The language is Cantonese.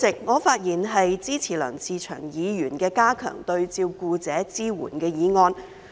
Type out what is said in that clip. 我發言支持梁志祥議員的"加強對照顧者的支援"議案。